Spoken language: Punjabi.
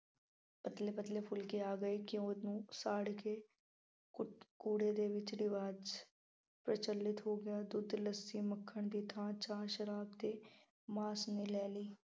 ਪਤਲੇ ਪਤਲੇ ਫੁਲਕੇ ਆ ਗਏ ਅਤੇ ਘਿਉ ਨੂੰ ਸਾੜ ਕੇ ਕੁਦ ਕੂੜੇ ਦੇ ਵਿੱਚ ਰਿਵਾਜ਼ ਪ੍ਰਚਲਿਤ ਹੋ ਗਿਆ। ਦੁੱਧ, ਲੱਸੀ, ਮੱਖਣ ਦੀ ਥਾਂ ਚਾਹ, ਸ਼ਰਾਬ ਅਤੇ ਮਾਸ ਨੇ ਲੈ ਲਈ।